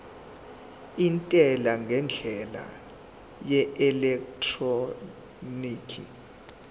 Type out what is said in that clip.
intela ngendlela yeelektroniki